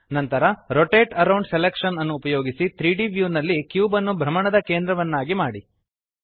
ನಂತರ rotate around selection ಅನ್ನು ಉಪಯೋಗಿಸಿ 3ದ್ ವ್ಯೂ ನಲ್ಲಿ ಕ್ಯೂಬ್ ಅನ್ನು ಭ್ರಮಣದ ಕೇಂದ್ರವನ್ನಾಗಿ ಮಾಡಿ